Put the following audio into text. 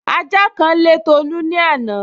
Ajá kan lé Tolu ní àná